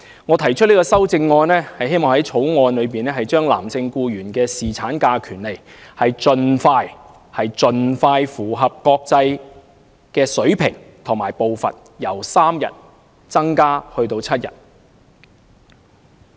我提出修正案，希望在《條例草案》中提升男性僱員的侍產假權利，使之盡快符合國際水平，即由3日增加至7日。